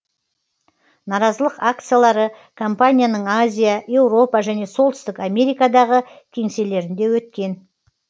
наразылық акциялары компанияның азия еуропа және солтүстік америкадағы кеңселерінде өткен